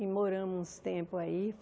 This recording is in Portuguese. e moramos uns tempos aí.